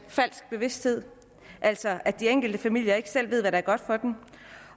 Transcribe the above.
falsk bevidsthed altså at de enkelte familier ikke selv ved hvad der er godt for dem